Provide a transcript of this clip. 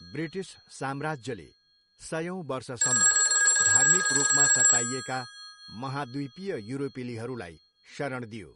British साम्राज्यले सयौँ वर्षसम्म धार्मिक रूपमा सताइएका महाद्वीपीय युरोपेलीहरूलाई शरण दियो।